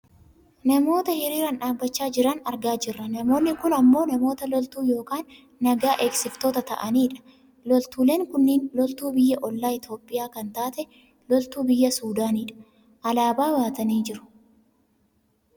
Namoota hiriiraan dhaabbachaa jiran argaa jirra, namootni kun ammoo namoota loltuu yookaan naga eegsiftoota ta'ani dha. loltuuleen kunniin loltuu biyya ollaa Itoophiyaa an taate lloltuu biyya Sudaanidha. alaabaa baatanii jiru.